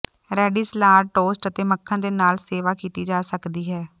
ready salad toast ਅਤੇ ਮੱਖਣ ਦੇ ਨਾਲ ਸੇਵਾ ਕੀਤੀ ਜਾ ਸਕਦੀ ਹੈ